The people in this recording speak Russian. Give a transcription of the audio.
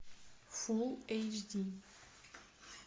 фул эйч ди